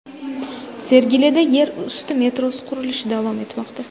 Sergelida yer usti metrosi qurilishi davom etmoqda .